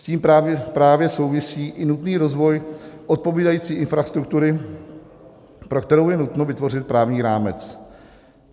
S tím právě souvisí i nutný rozvoj odpovídající infrastruktury, pro kterou je nutno vytvořit právní rámec.